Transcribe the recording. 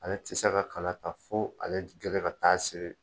Ale tɛ se ka kala ta fo ale gɛlɛ ka taa siri.